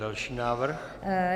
Další návrh.